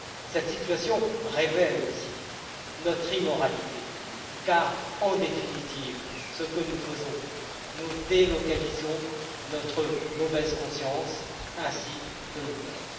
Cette situation révèle aussi notre immoralité, car, en définitive, ce que nous faisons, c'est délocaliser notre mauvaise conscience ainsi que nos peurs.